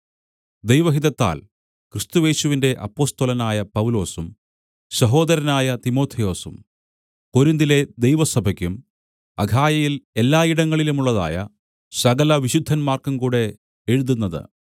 ദൈവഹിതത്താൽ ക്രിസ്തുയേശുവിന്റെ അപ്പൊസ്തലനായ പൗലൊസും സഹോദരനായ തിമൊഥെയൊസും കൊരിന്തിലെ ദൈവസഭയ്ക്കും അഖായയിൽ എല്ലായിടങ്ങളിലുമുള്ളതായ സകലവിശുദ്ധന്മാർക്കും കൂടെ എഴുതുന്നത്